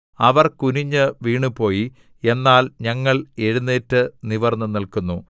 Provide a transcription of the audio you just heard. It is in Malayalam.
അവർ കുനിഞ്ഞ് വീണുപോയി എന്നാൽ ഞങ്ങൾ എഴുന്നേറ്റ് നിവർന്നുനില്‍ക്കുന്നു